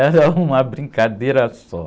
Era uma brincadeira só.